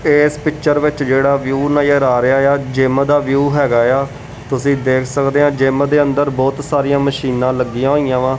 ਇਸ ਪਿਚਰ ਵਿੱਚ ਜਿਹੜਾ ਵਿਊ ਨਜਰ ਆ ਰਿਹਾ ਆ ਜਿਮ ਦਾ ਵਿਊ ਹੈਗਾ ਆ ਤੁਸੀਂ ਦੇਖ ਸਕਦੇ ਆ ਜਿਮ ਦੇ ਅੰਦਰ ਬਹੁਤ ਸਾਰੀਆਂ ਮਸ਼ੀਨਾਂ ਲੱਗੀਆਂ ਹੋਈਆਂ ਵਾ।